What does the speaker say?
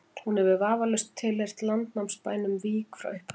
hún hefur vafalaust tilheyrt landnámsbænum vík frá upphafi